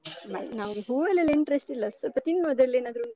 ನಂಗೆ ಹೂವಲ್ಲೆಲ್ಲ interest ಇಲ್ಲ. ಸ್ವಲ್ಪ ತಿನ್ನುವುದಲ್ಲೇನಾದ್ರೂ?